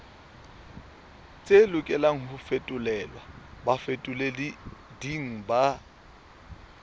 lokelang ho fetolelwa bafetoleding ba